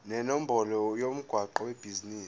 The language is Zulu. nenombolo yomgwaqo webhizinisi